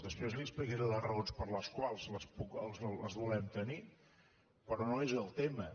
després li explicaré les raons per les quals els volem tenir però no és el tema